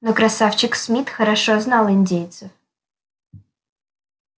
но красавчик смит хорошо знал индейцев